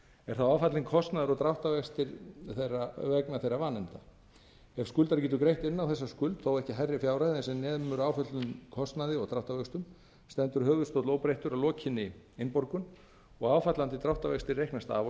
er þá á fallinn kostnaður og dráttarvextir vegna þeirra nefna ef skuldari getur greitt inn á þessa skuld þó ekki hærri fjárhæð en sem nemur áföllnum kostnaði og dráttarvöxtum stendur höfuðstóll óbreyttur að lokinni innborgun og áfallandi dráttarvextir reiknast af honum þrátt